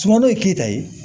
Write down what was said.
Sumano ye keyita ye